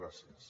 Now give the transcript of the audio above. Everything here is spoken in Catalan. gràcies